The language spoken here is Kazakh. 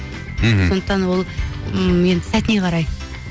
мхм сондықтан ол м енді сәтіне қарай